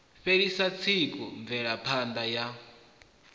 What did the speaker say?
fhelisa tsiku mvelapha ṋda ya